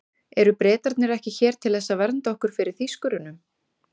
Eru Bretarnir ekki hér til þess að vernda okkur fyrir Þýskurunum?